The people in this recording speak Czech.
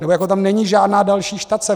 Nebo tam není žádná další štace.